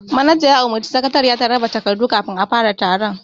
Manaja ya umurci sakatariya ta raba takardu kafin a fara taron